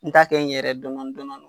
N ta kɛ n yɛrɛ ye dɔɔni dɔɔni.